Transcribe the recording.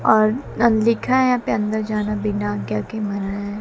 और लिखा है यहां पे अंदर जाना बिना आज्ञा के मना है।